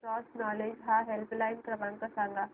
cross Knowledge चा helpline क्रमांक सांगा